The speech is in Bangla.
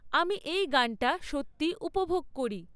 আমি এই গানটা সত্যিই উপভোগ করি